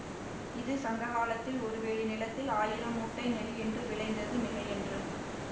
இது சங்ககாலத்தில் ஒரு வேலி நிலத்தில் ஆயிரம் மூட்டை நெல் என்று விளைந்தது மிகையன்று